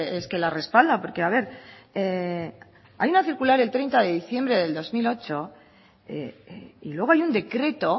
es que la respalda porque a ver hay una circular el treinta de diciembre de dos mil ocho y luego hay un decreto